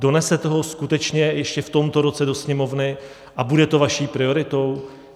Donesete ho skutečně ještě v tomto roce do Sněmovny a bude to vaší prioritou?